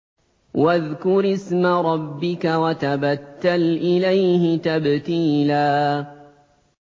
وَاذْكُرِ اسْمَ رَبِّكَ وَتَبَتَّلْ إِلَيْهِ تَبْتِيلًا